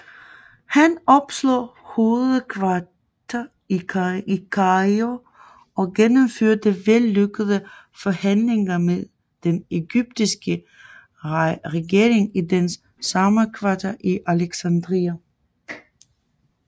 Han opslog hovedkvarter i Kairo og gennemførte vellykkede forhandlinger med den ægyptiske regering i dens sommerkvarter i Alexandria